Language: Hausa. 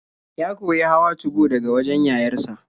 Ya koyi hawa 2go daga wajen yayar sa.